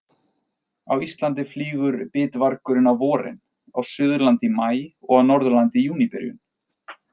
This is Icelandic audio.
Á Íslandi flýgur bitvargurinn á vorin, á Suðurlandi í maí og á Norðurlandi í júníbyrjun.